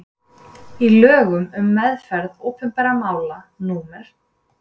í lögum um meðferð opinberra mála númer